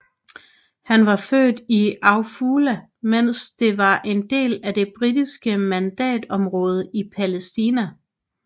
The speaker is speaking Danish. Han var født i Afula mens det var en del af det britiske mandatområde i Palæstina